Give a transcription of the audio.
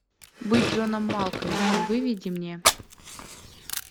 быть джоном малковичем выведи мне